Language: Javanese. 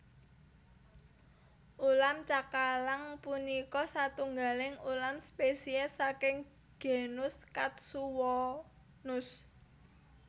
Ulam cakalang punika satunggaling ulam spesies saking genus Katsuwonus